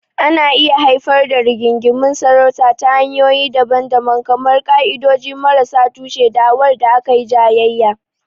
Ana iya haifar da rigingimun sarauta ta hanyoyi daban-daban kamar ƙa'idodi marasa tushe, da'awar da aka yi jayayya.